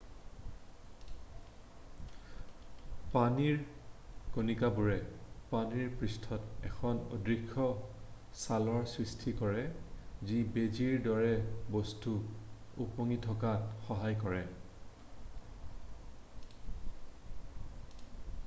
পানীৰ কণিকাবোৰে পানীৰ পৃষ্ঠত এখন অদৃশ্য ছালৰ সৃষ্টি কৰে যি বেজীৰ দৰে বস্তু উপঙি থকাত সহায় কৰে